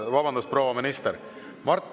Vabandust, proua minister!